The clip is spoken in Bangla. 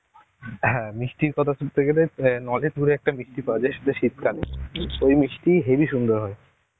হ্যাঁ মিষ্টির কথা তুলতে গেলে নলেন গুড়ের একটা মিষ্টি পাওয়া যায় সেটা শীতকালে. ওই মিষ্টি হেভি সুন্দর হয়.